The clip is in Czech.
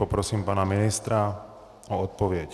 Poprosím pana ministra o odpověď.